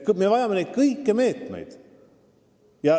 Me vajame neid kõiki meetmeid.